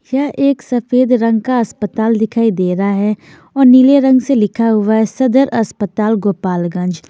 यह एक सफेद रंग का अस्पताल दिखाई दे रहा है और नीले रंग से लिखा हुआ है सदर अस्पताल गोपालगंज।